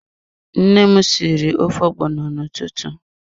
Nne m sịrị ofe ogbono n'ụtụtụ.